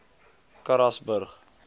karasburg